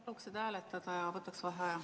Paluks seda hääletada ja võtaks vaheaja.